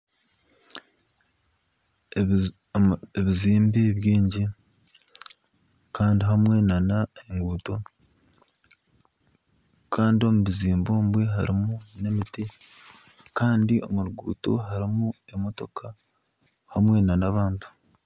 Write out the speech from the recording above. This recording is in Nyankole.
Ebizimbe bingi kandi hamwe nana enguuto kandi omu bizimbe omu harimu emiti kandi omu ruguuto harimu emotoka hamwe nana abantu